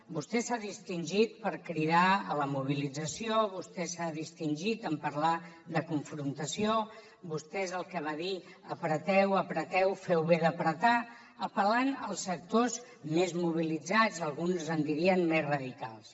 vostè s’ha distingit per cridar a la mobilització vostè s’ha distingit en parlar de confrontació vostè és el que va dir apreteu apreteu feu bé d’apretar apel·lant als sectors més mobilitzats alguns en dirien més radicals